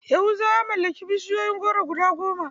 Yahuza ya mallaki bishiyun goro guda goma.